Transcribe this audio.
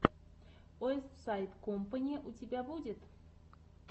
уэстсайд кампани у тебя будет